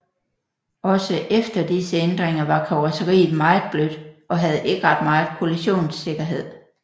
Også efter disse ændringer var karrosseriet meget blødt og havde ikke ret meget kollisionssikkerhed